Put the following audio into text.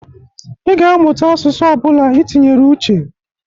Ị ga-amụta asụsụ ọ bụla i tinyere uche.